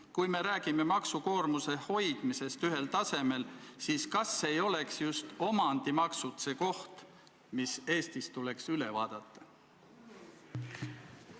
Kui me räägime maksukoormuse hoidmisest ühel tasemel, siis kas poleks just omandimaksud see koht, mis Eestis tuleks üle vaadata?